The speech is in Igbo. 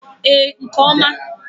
Ee, nke oma.